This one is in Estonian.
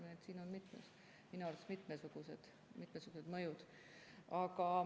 Nii et siin on minu arust mitmesugused mõjud.